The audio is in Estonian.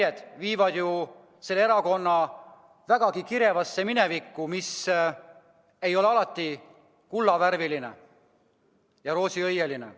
Jäljed viivad selle erakonna vägagi kirevasse minevikku, mis ei ole alati olnud kullavärviline ja roosiõieline.